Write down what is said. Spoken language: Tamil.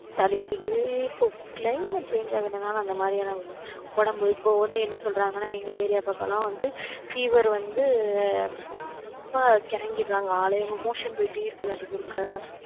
சளி பிடிக்குது, இப்ப climate change ஆகறதுனால, அந்த மாதிரியான உடம்பு இப்ப வந்து, என்ன சொல்றாங்கன்னா, எங்க area பக்கம்லாம் வந்து fever வந்து ரொம்ப கிறங்கிடுறாங்க ஆளே motion போயிட்டே இருக்குது, அடிக்கு ஒருக்க